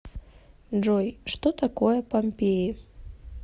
джой что такое помпеи